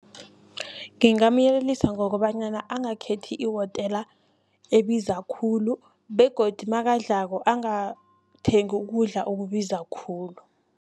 Ngingamyelelisa ngokobanyana angakhethi ihotela ebiza khulu begodi nakadlalako angathengi ukudla okubiza khulu.